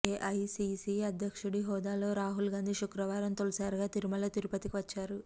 AICC అధ్యక్షుడి హోదాలో రాహుల్ గాంధీ శుక్రవారం తొలిసారిగా తిరుమల తిరుపతికి వచ్చారు